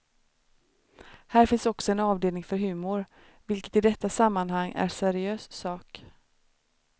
Här finns också en avdelning för humor vilket i detta sammanhang är seriös sak.